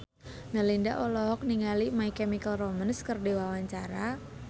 Melinda olohok ningali My Chemical Romance keur diwawancara